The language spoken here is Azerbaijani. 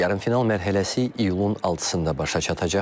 Yarımfinal mərhələsi iyulun 6-da başa çatacaq.